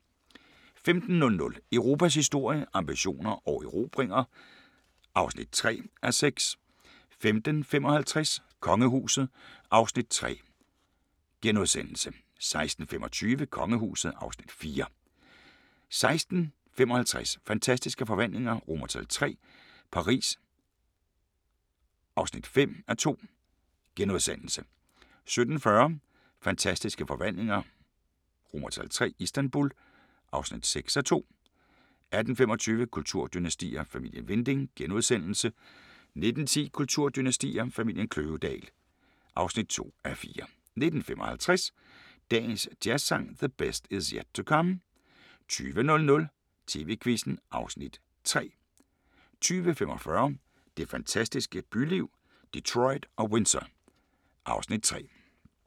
15:00: Europas historie – ambitioner og erobringer (3:6) 15:55: Kongehuset (Afs. 3)* 16:25: Kongehuset (Afs. 4) 16:55: Fantastiske Forvandlinger III – Paris (5:2)* 17:40: Fantastiske forvandlinger III – Istanbul (6:2) 18:25: Kulturdynastier: Familien Winding * 19:10: Kulturdynastier: Familien Kløvedal (2:4) 19:55: Dagens Jazzsang: The Best Is Yet to Come * 20:00: TV-Quizzen (Afs. 3) 20:45: Det fantastiske byliv – Detroit og Windsor (Afs. 3)